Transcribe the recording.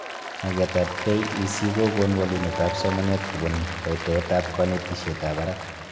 Magetab KEC kokon walunetab somanet kobun kotoetab konetishetab barak